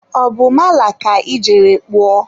ọ bụ mala ka ị jere kpụọ?